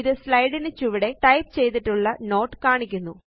ഇത് സ്ലൈഡ് ന് ചുവടെ ടൈപ്പ് ചെയ്തിട്ടുള്ള നോട്ട് കാണിക്കുന്നു